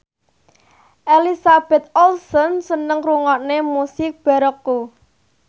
Elizabeth Olsen seneng ngrungokne musik baroque